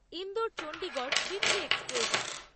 Indore Chandigarh weekly express